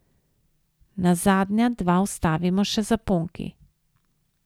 Na zadnja dva vstavimo še zaponki.